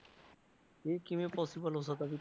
ਇਹ ਕਿਵੇਂ possible ਹੋ ਸਕਦਾ ਜੀ।